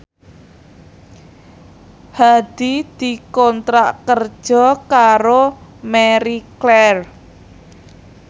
Hadi dikontrak kerja karo Marie Claire